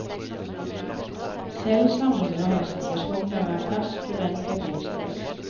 Selv sammenligner han situasjonen med å være fersk student på et nytt sted.